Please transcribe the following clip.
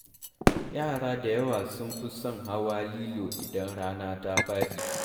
Yara da yawa sun fi son hawa lilo idan rana ta faɗi.